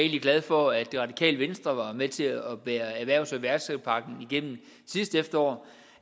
glad for at det radikale venstre var med til at bære erhvervs og iværksætterpakken igennem sidste efterår